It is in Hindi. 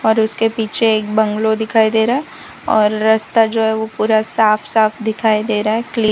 और उसके पीछे एक बंगलों दिखाई दे रहा हैं और रस्ता जो हैं वो पूरा साफ साफ दिखाई दे रहा हैं क्लि--